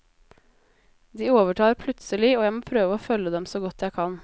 De overtar plutselig, og jeg må prøve å følge dem så godt jeg kan.